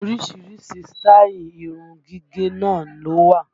Orísìírísìí sítáì irun gígẹ̀ náà ló wà